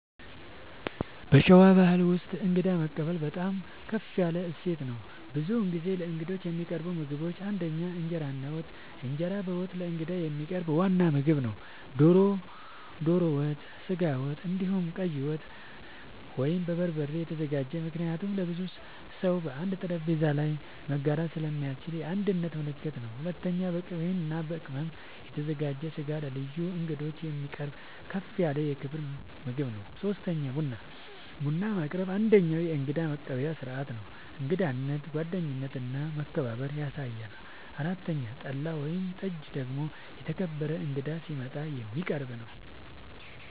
በሸዋ ባሕል ውስጥ እንግዳ መቀበል በጣም ከፍ ያለ እሴት ነው። ብዙ ጊዜ ለእንግዶች የሚቀርቡ ምግቦች ፩) እንጀራ እና ወጥ፦ እንጀራ በወጥ ለእንግዳ የሚቀርብ ዋና ምግብ ነው። ዶሮ ወጥ፣ ስጋ ወጥ፣ እንዲሁም ቀይ ወጥ( በበርበሬ የተዘጋጀ) ምክንያቱም ለብዙ ሰው በአንድ ጠረጴዛ ላይ መጋራት ስለሚያስችል የአንድነት ምልክት ነው። ፪.. በቅቤ እና በቅመም የተዘጋጀ ስጋ ለልዩ እንግዶች የሚቀርብ ከፍ ያለ የክብር ምግብ ነው። ፫. ቡና፦ ቡና ማቅረብ አንደኛዉ የእንግዳ መቀበያ ስርዓት ነው። እንግዳነትን፣ ጓደኝነትን እና መከባበርን ያሳያል። ፬ .ጠላ ወይም ጠጅ ደግሞ የተከበረ እንግዳ ሲመጣ የሚቀረብ ነዉ